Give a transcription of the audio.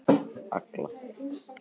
Agla